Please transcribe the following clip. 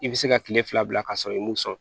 I bɛ se ka kile fila bila ka sɔrɔ i m'o sɔn